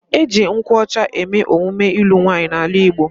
E ji nkwu ocha eme emume ilu nwaanyi n'ala Igbo